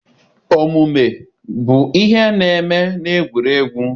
Omume bụ ihe na-eme na egwuregwu.